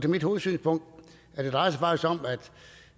mit hovedsynspunkt altså